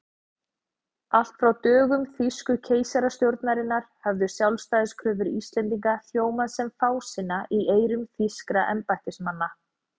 Allt frá dögum þýsku keisarastjórnarinnar höfðu sjálfstæðiskröfur Íslendinga hljómað sem fásinna í eyrum þýskra embættismanna.